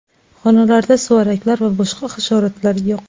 Xonalarda suvaraklar va boshqa hasharotlar yo‘q.